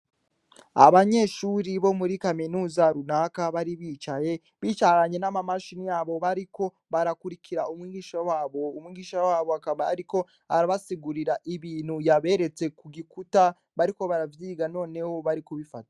Abanyeshure bari muri kaminuza runaka bari bicaye bicaranye n' amamashini yabo bariko barakurikira umwigisha wabo umwigisha wabo akaba ariko arabasigurira ibintu yaberetse kugi kuta bariko baravyiga noneho bari kubifata.